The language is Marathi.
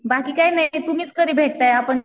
बाकी काही नाही तुम्हीच कधी भेटताय आपण